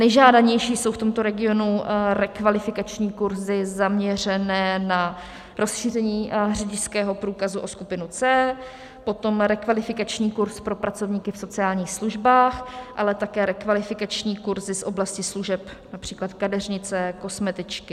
Nejžádanější jsou v tomto regionu rekvalifikační kurzy zaměřené na rozšíření řidičského průkazu o skupinu C, potom rekvalifikační kurz pro pracovníky v sociálních službách, ale také rekvalifikační kurzy z oblasti služeb, například kadeřnice, kosmetičky.